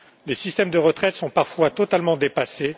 Les systèmes de retraite sont parfois totalement dépassés.